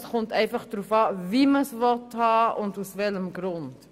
Es kommt einfach darauf an, wie man es haben will und aus welchem Grund.